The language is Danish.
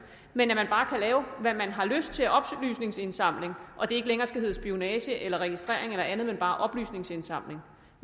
men at man bare kan lave hvad man har lyst til af oplysningsindsamling og det ikke længere skal hedde spionage eller registrering eller andet men bare oplysningsindsamling